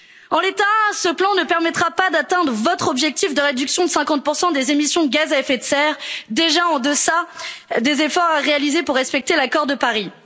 En l'état, ce plan ne permettra pas d'atteindre votre objectif de réduction de 50 des émissions de gaz à effet de serre, déjà en deçà des efforts à réaliser pour respecter l'accord de Paris.